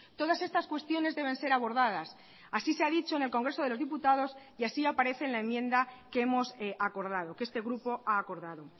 todas estas cuestiones deben ser abordadas así se ha dicho en el congreso de los diputados y así aparece en la enmienda que hemos acordado que este grupo ha acordado